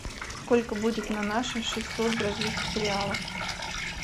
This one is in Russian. сколько будет на наши шестьсот бразильских реалов